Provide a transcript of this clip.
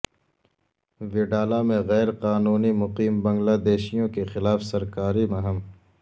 وڈالہ میں غیرقانونی مقیم بنگلہ دیشیوں کے خلاف سرکاری مہم